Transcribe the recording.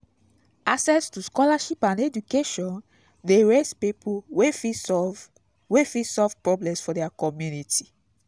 access to scholarship and education de raise pipo wey fit solve wey fit solve problems for their community